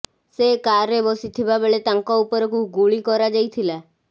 ସେ କାର୍ରେ ବସିଥିବା ବେଳେ ତାଙ୍କ ଉପରକୁ ଗୁଳି କରାଯାଇଥିଲା